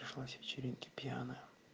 пришла с вечеринки пьяная